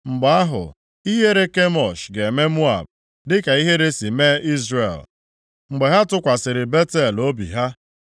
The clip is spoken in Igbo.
Mgbe ahụ, ihere Kemosh ga-eme Moab, dịka ihere si mee Izrel mgbe ha tụkwasịrị Betel obi ha.